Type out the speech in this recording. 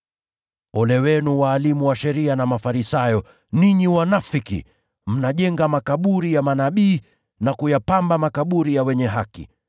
“Ole wenu, walimu wa sheria na Mafarisayo, ninyi wanafiki! Mnajenga makaburi ya manabii na kuyapamba makaburi ya wenye haki.